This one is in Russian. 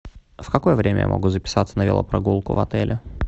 в какое время я могу записаться на велопрогулку в отеле